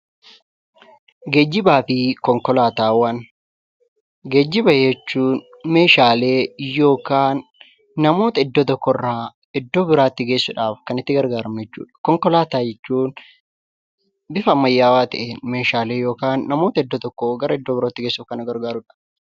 Geejjiba jechuun meeshaalee yookaan namoota iddoo tokkorraa iddoo biraatti geessuudhaaf kan itti gargaaramu jechuudha. Konkolaataa jechuun bifa ammayyaawaa ta'ee meeshaalee yookiin namoota iddoo tokkoo gara iddoo biraatti geessuuf kan nu gargaarudha.